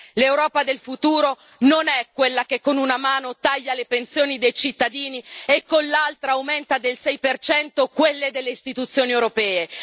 L'Europa del futuro non è quella che con una mano taglia le pensioni dei cittadini e con l'altra aumenta del 6 quelle delle istituzioni europee.